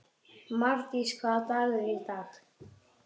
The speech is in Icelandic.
Mardís, hvaða dagur er í dag?